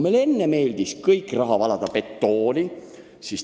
Enne meeldis meile kogu raha valada betooni.